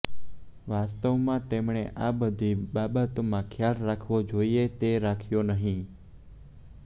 વાસ્તવમાં તેમણે આ બધી બાબતોનો ખ્યાલ રાખવો જોઈએ તે રાખ્યો નહીં